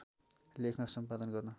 लेखमा सम्पादन गर्न